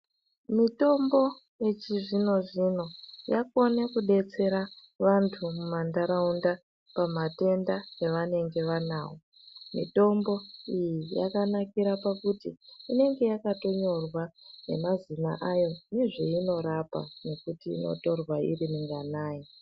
Mitombo yechizvino zvino yakone kudetsera vantu kumama ntaraunda pamatenda avanenge vanawo. Mitombo iyi yakanakira pakuti inonge yakatonyorwa nemazina ayo nezveino rapa, nekuti inotorwa iri minganayi.